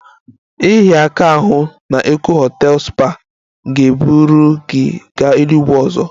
Ịhịa aka n'ahụ na Eko hotels spa ga-eburu gị gaa eluigwe ọzọ